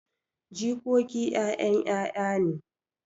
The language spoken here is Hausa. Jikoki 'ya'yan 'ya'ya ne.